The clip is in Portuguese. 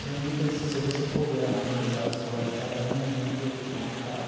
É muita se se você for ver analisar as história de cada um, é muito complicado.